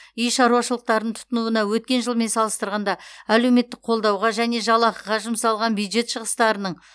үй шаруашылықтарын тұтынуына өткен жылмен салыстырғанда әлеуметтік қолдауға және жалақыға жұмсалған бюджет шығыстарының